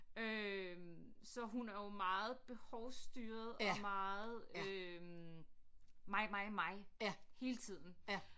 Øh så hun er jo meget behovsstyret og meget øh mig mig mig hele tiden